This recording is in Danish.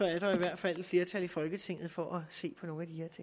er der i hvert fald et flertal i folketinget for at se på nogle